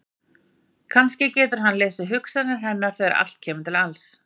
Kannski getur hann lesið hugsanir hennar þegar allt kemur til alls!